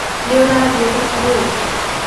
Nĩũrathiĩ thoko rĩu?